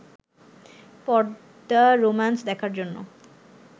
পর্দা রোমান্স দেখার জন্য